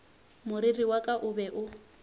moriri wa ka o be